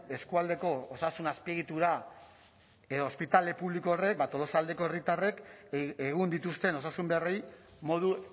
eskualdeko osasun azpiegitura edo ospitale publiko horrek tolosaldeko herritarrek egun dituzten osasun beharrei modu